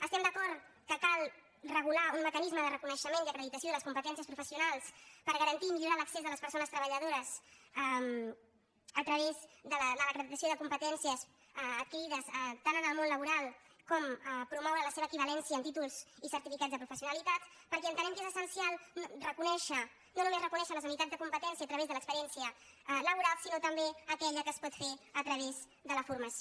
estem d’acord que cal regular un mecanisme de reconeixement i acre·ditació de les competències professionals per garantir i millorar l’accés de les persones treballadores a través de l’acreditació de competències adquirides tant en el món actual com promoure la seva equivalència en tí·tols i certificats de professionalitat perquè entenem que és essencial reconèixer no només reconèixer les unitats de competència a través de l’experiència labo·ral sinó també aquella que es pot fer a través de la for·mació